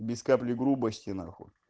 без капли грубости нахуй